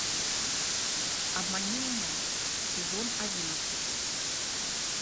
обмани меня сезон одиннадцать